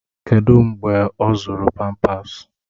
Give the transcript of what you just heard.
Kedụ mgbe ọ zụrụ pampasi?